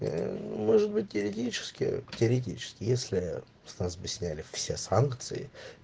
может быть юридически теоретически если с нас бы сняли все санкции